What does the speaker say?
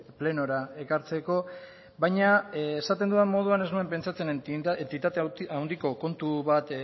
plenora ekartzeko baina esaten dudan moduan ez nuen pentsatzen entitate handiko kontu bat